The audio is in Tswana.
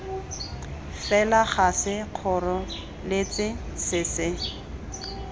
fela ga sekgoreletsi se se